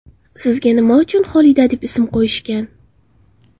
Sizga nima uchun Xolida deb ism qo‘yishgan?